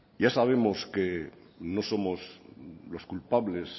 ya sabemos que no somos los culpables